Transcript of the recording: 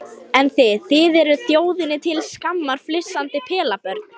Það voru þrjár tröppur upp í þessa litlu holu.